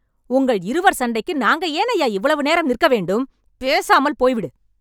உங்கள் இருவர் சண்டைக்கு நாங்க ஏனைய்யா இவ்வளவு நேரம் நிற்க வேண்டும்.. பேசாமல் போய்விடு